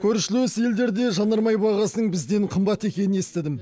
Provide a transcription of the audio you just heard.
көршілес елдерде жанармай бағасының бізден қымбат екенін естідім